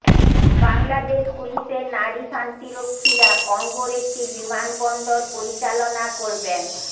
বাংলাদেশ পুলিশের নারী শান্তিরক্ষীরা কঙ্গোর একটি বিমানবন্দর পরিচালনা করবেন